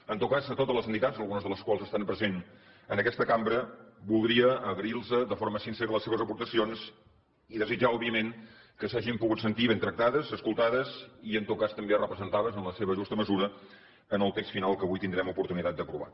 en tot cas a totes les entitats algunes de les quals estan presents en aquesta cambra voldria agrair los de forma sincera les seves aportacions i desitjar òbviament que s’hagin pogut sentir ben tractades escoltades i en tot cas també representades en la seva justa mesura en el text final que avui tindrem oportunitat d’aprovar